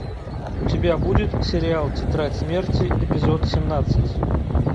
у тебя будет сериал тетрадь смерти эпизод семнадцать